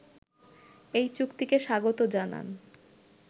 এই চুক্তিকে স্বাগত জানান